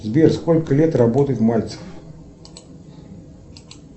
сбер сколько лет работает мальцев